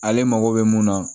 Ale mago bɛ mun na